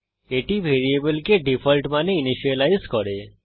এটি ভ্যারিয়েবলকে ডিফল্ট মানে ইনিসিয়েলাইজ করে